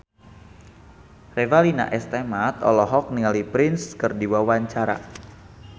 Revalina S. Temat olohok ningali Prince keur diwawancara